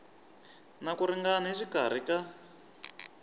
na ku ringana exikarhi ka